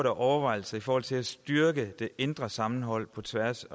af overvejelser i forhold til at styrke det indre sammenhold på tværs